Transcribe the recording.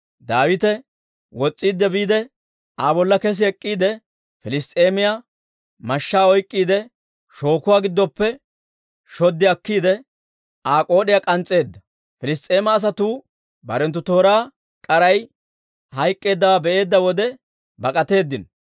Daawite wos's'iidde biide, Aa bolla kes ek'k'iide, Piliss's'eemiyaa mashshaa oyk'k'iide shookuwaa giddoppe shoddi akkiide, Aa k'ood'iyaa muuc'eedda. Piliss's'eema asatuu barenttu tooraa k'aray hayk'k'eeddawaa be'eedda wode bak'atteedino.